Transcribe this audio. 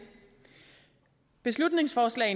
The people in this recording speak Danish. beslutningsforslag